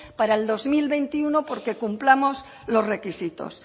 para el dos mil veintiuno porque cumplamos los requisitos